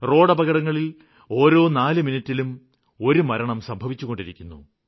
റോഡപകടങ്ങളില് ഓരോ നാല് മിനിട്ടിലും ഒരു മരണം സംഭവിച്ചുകൊണ്ടിരിക്കുന്നു